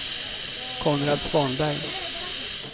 Konrad Svanberg